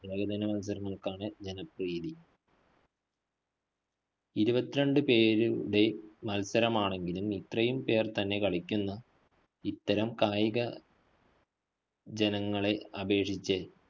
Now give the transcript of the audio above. ഏകദിന മത്സരങ്ങള്‍ക്കാണ് ജനപ്രീതി ഇരുപത്തിരണ്ടു പേരു~ടെ മത്സരമാണെങ്കിലും ഇത്രയും പേര്‍ തന്നെ കളിക്കുന്ന ഇത്തരം കായിക ജനങ്ങളെ അപേക്ഷിച്ച്